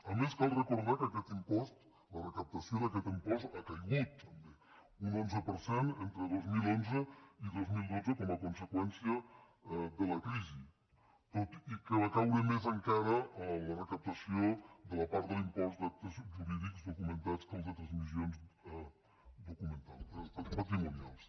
a més cal recordar que la recaptació d’aquest impost ha caigut també un onze per cent entre dos mil onze i dos mil dotze com a conseqüència de la crisi tot i que va caure més encara la recaptació de la part de l’impost d’actes jurídics documentats que el de transmissions patrimonials